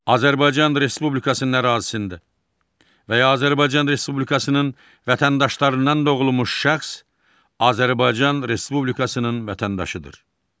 Azərbaycan Respublikasının ərazisində və ya Azərbaycan Respublikasının vətəndaşlarından doğulmuş şəxs Azərbaycan Respublikasının vətəndaşıdır.